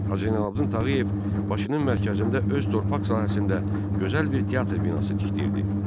Hacı Zeynalabdin Tağıyev Bakının mərkəzində öz torpaq sahəsində gözəl bir teatr binası tikdirdi.